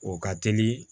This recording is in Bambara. O ka teli